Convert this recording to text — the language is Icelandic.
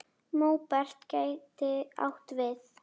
Móberg gæti átt við